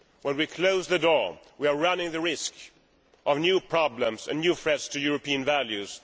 When we close the door, we are running the risk of new problems and new threats to European values